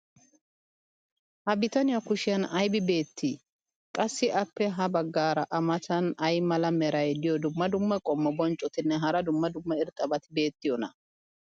ha bitaniya kushiyan aybi beetii? qassi appe ya bagaara a matan ay mala meray diyo dumma dumma qommo bonccotinne hara dumma dumma irxxabati beettiyoonaa?